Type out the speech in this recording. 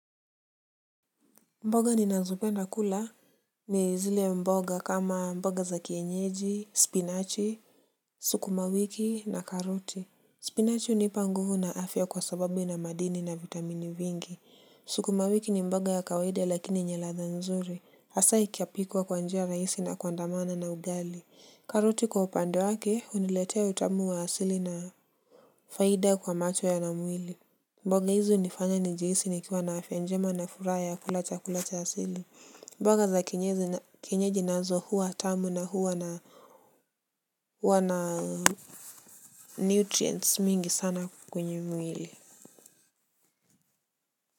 Mboga ninazopenda kula. Ni zile mboga kama mboga za kienyeji, spinachi, sukumawiki na karoti. Spinachi unipa nguvu na afya kwa sababu ina madini na vitamini vingi. Sukumawiki ni mboga ya kawaida lakini yenye ladha nzuri. Asaa ikiapikwa kwa njia raisi na kuandamana na ugali. Karoti kwa upande wake uniletea utamu wa asili na faida kwa macho na mwili. Mboga hizi unifanya njihisi nikiwa na afya njema na furaha ya kula chakula cha asili. Mboga za kienyeji nazo huwa tamu na huwa na nutrients mingi sana kwenye mwili.